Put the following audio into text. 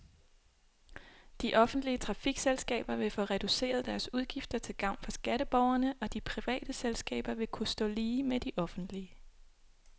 De offentlige trafikselskaber vil få reduceret deres udgifter til gavn for skatteborgerne, og de private selskaber vil kunne stå lige med de offentlige.